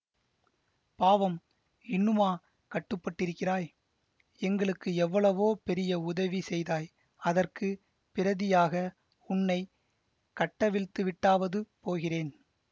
பாவம் இன்னுமா கட்டுப்பட்டிருக்கிறாய் எங்களுக்கு எவ்வளவோ பெரிய உதவி செய்தாய் அதற்கு பிரதியாக உன்னை கட்டவிழ்த்துவிட்டாவது போகிறேன்